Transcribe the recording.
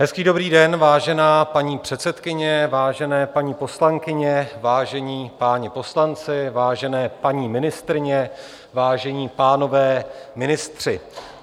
Hezký dobrý den, vážená paní předsedkyně, vážené paní poslankyně, vážení páni poslanci, vážené paní ministryně, vážení pánové ministři.